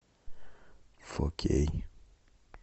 фор кей